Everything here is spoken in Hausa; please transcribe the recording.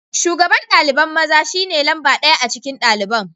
Shugaban dalibain maza shine lamba daya a cikin dalibain.